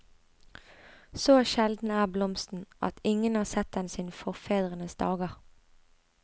Så sjelden er blomsten at ingen har sett den siden forfedrenes dager.